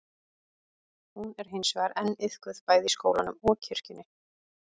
hún er hins vegar enn iðkuð bæði í skólanum og kirkjunni